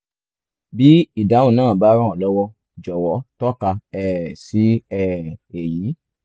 bí ìdáhùn náà bá ràn ọ́ lọ́wọ́ jọ̀wọ́ tọ́ka um sí um èyí)